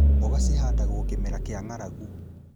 Mboga cihandagwo kĩmera kĩa ng'aragu